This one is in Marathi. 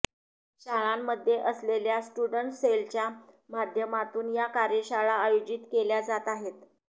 शाळांमध्ये असलेल्या स्टुडंट सेलच्या माध्यमातून या कार्यशाळा आयोजित केल्या जात आहेत